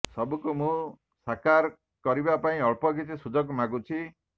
ସବୁକୁ ମୁଁ ସାକାର କରିବା ପାଇଁ ଅଳ୍ପ କିଛି ସୁଯୋଗ ମାଗୁଛି